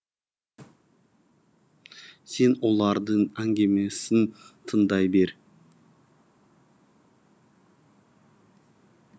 сен олардың әңгімесін тыңдай бер